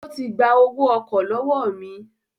Ó ti gba owó ọkọ̀ lọ́wọ́ mi